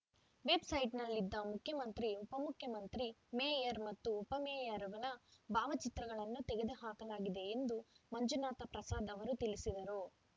ವೆಬ್‌ಸೈಟ್‌ನಲ್ಲಿ ಇದ್ದ ಮುಖ್ಯಮಂತ್ರಿ ಉಪ ಮುಖ್ಯಮಂತ್ರಿ ಮೇಯರ್ ಮತ್ತು ಉಪ ಮೇಯರ್‌ಗಳ ಭಾವಚಿತ್ರಗಳನ್ನು ತೆಗೆದುಹಾಕಲಾಗಿದೆ ಎಂದು ಮಂಜುನಾಥ ಪ್ರಸಾದ್ ಅವರು ತಿಳಿಸಿದರು